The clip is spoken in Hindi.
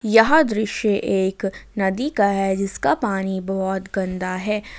यह दृश्य एक नदी का है जिसका पानी बहोत गंदा है।